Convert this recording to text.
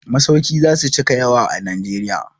Masauki za su cika yawa a Najeriya.